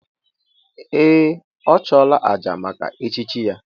Ee! Ọ chụọla àjà maka echichi ya.